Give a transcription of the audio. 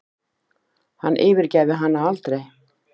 Hann yfirgæfi hana aldrei.